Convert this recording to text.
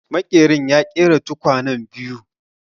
Maƙerin ya ƙera tukwanen biyu